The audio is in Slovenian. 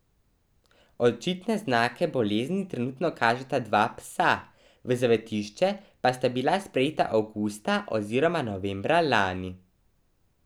Očitne znake bolezni trenutno kažeta dva psa, v zavetišče pa sta bila sprejeta avgusta oziroma novembra lani.